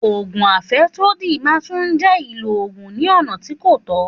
Ògùn àfẹ́sódì náà tún jẹ́ ìlò ògùn ní ọ̀nà tí kò tọ́